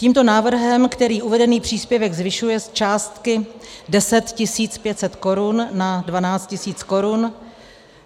Tímto návrhem, který uvedený příspěvek zvyšuje z částky 10 500 korun na 12 000 korun,